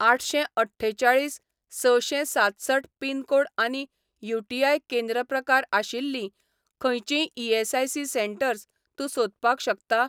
आठशें अठ्ठेचाळीस सशें सातसठ पिन कोड आनी यूटीआय केंद्र प्रकार आशिल्लीं खंयचींय ईएसआयसी सेटंर्स तूं सोदपाक शकता ?